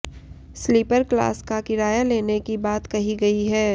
sleeper class का किराया लेने की बात कही गई है